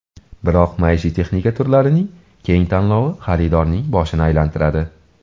Biroq maishiy texnika turlarining keng tanlovi xaridorning boshini aylantiradi.